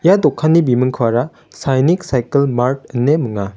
ia dokanni bimingkoara sainik saikel mart ine minga.